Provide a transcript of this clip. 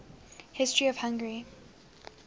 history of hungary